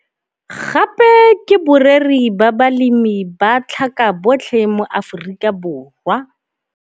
Gape ke boreri ba balemi ba tlhaka BOTLHE mo Afikaborwa.